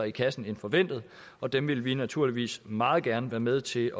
i kassen end forventet og dem vil vi naturligvis meget gerne være med til